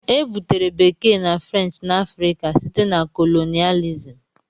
Ebutere Bekee na French na Africa site na colonialism.